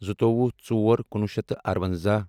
زٕتووُہ ژور کُنوُہ شیٚتھ تہٕ اَرونٛزاہ